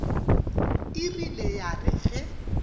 e rile ya re ge